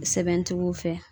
Sɛbɛntigiw fɛ